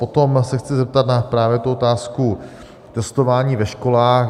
Potom se chci zeptat na právě tu otázku testování ve školách.